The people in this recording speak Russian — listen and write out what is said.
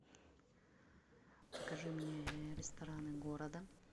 покажи мне рестораны города